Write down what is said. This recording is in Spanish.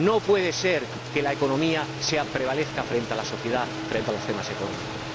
No puede ser que la economía prevalezca frente a la sociedad, frente a los temas económicos.